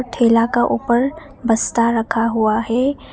ठेला का ऊपर बस्ता रखा हुआ है।